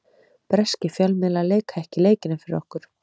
Breskir fjölmiðlar leika ekki leikina fyrir okkur.